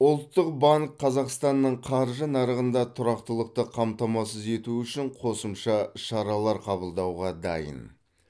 ұлттық банк қазақстанның қаржы нарығында тұрақтылықты қамтамасыз ету үшін қосымша шаралар қабылдауға дайын